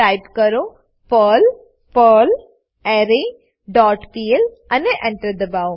type કરો Perl perlre dot P L અને Enter દબાઓ